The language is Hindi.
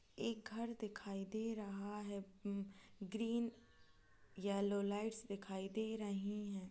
एक घर दिखाई दे रहा है ग्रीन येलो लाइट दिखाई दे रहे हैं।